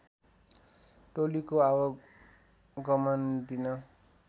टोलीको आवागमन दिन